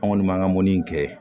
An kɔni b'an ka mɔnni in kɛ